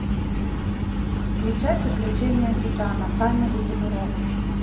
включай приключения титана тайна единорога